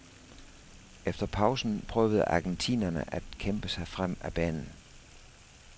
Efter pausen prøvede argentinerne at kæmpe sig frem ad banen.